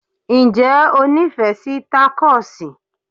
Ǹjẹ́ o nífẹ̀ẹ́ sí takosì?